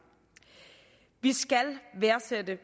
vi skal værdsætte